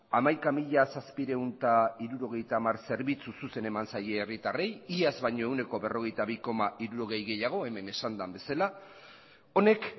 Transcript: hamaika mila zazpiehun eta hirurogeita hamar zerbitzu zuzen eman zaie herritarrei iaz baino ehuneko berrogeita bi koma hirurogei gehiago hemen esan den bezala honek